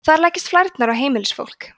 þar leggjast flærnar á heimilisfólk